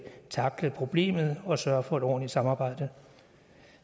tackle problemet og sørge for et ordentligt samarbejde